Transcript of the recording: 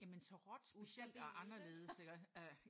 Jamen så råt specielt og anderledes iggås?